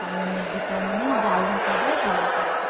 maggie chowmein ଜାଉଭାତ ଦିଅ ଭଲ ସବୁ।